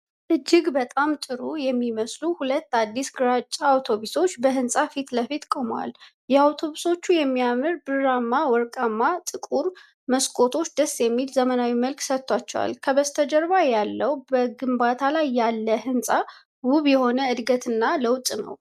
እጅግ በጣም ጥሩ የሚመስሉ ሁለት አዲስ ግራጫ አውቶቡሶች በህንፃ ፊት ለፊት ቆመዋል። የአውቶቡሶቹ የሚያምር ብርማ ቀለምና ጥቁር መስኮቶች ደስ የሚል ዘመናዊ መልክ ሰጥተዋቸዋል። በስተጀርባ ያለው በግንባታ ላይ ያለ ህንፃ ውብ የሆነ እድገትና ለውጥ ነው።